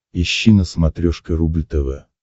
ищи на смотрешке рубль тв